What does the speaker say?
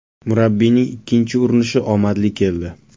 Murabbiyning ikkinchi urinishi omadli keldi.